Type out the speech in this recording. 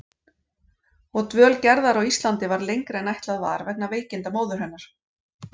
Og dvöl Gerðar á Íslandi varð lengri en ætlað var vegna veikinda móður hennar.